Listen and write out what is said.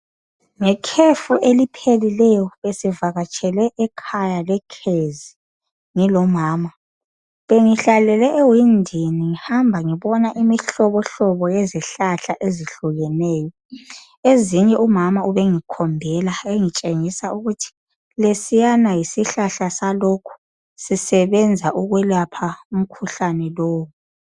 Ngekhefu eliphelileyo besivakatshele ekhaya eKezi, ngilomama. Bengihlalele ewindini. Ngihamba ngibona imihlobonlobo iyezihlahla ezitshiyetshiyeneyo. Ezinye umama ubengikhombela, engitshengisa ukuthi lesiyana yisihlahla salokhu. Sisebenza ukwelapha umkhuhlane lowu.